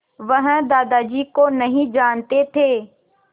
वह दादाजी को नहीं जानते थे